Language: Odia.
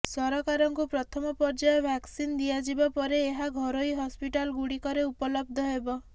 ସରକାରଙ୍କୁ ପ୍ରଥମ ପର୍ଯ୍ୟାୟ ଭ୍ୟାକସିନ୍ ଦିଆଯିବା ପରେ ଏହା ଘରୋଇ ହସ୍ପିଟାଲଗୁଡିକରେ ଉପଲବ୍ଧ ହେବ